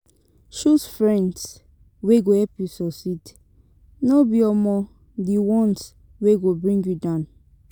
Choose friends wey go help you suceed no be um di ones wey go bring you down